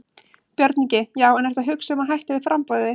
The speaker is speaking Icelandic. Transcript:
Björn Ingi: Já en ertu að hugsa um að hætta við framboðið þitt?